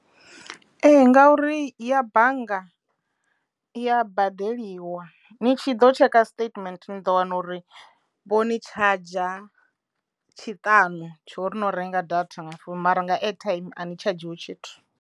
Ee ngauri ya bannga i ya badeliwa ni tshi ḓo tsheka statement ni ḓo wana uri vho ni charger tshiṱanu tsho uri no renga data nga founu mara nga airtime a ni tshadzhiwi tshithu.